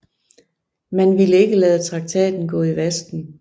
Man ville ikke lade traktaten gå i vasken